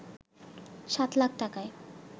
সাত লাখ টাকায়